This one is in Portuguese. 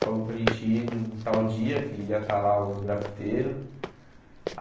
Falou para a gente ir num tal dia que iam estar lá os grafiteiros.